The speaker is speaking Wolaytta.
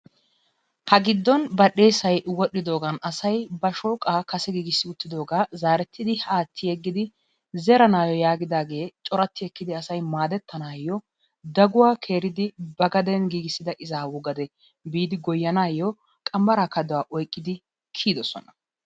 Ha giddon bal"eessay wodhdhidoogan asay ba shooqaa kase giigisidi wottidoogaa zaretti aatti yeeggidi zeranaayoo yaagidaagee corati ekkidi asay maadettanayoo daguwaa keeridi ba gaden giigisida izaawu gade biidi goyyanaayoo qambbaraa kaduwaa oyqidi kiyidoosona.